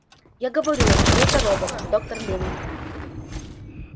я говорю вам что это робот доктор лэннинг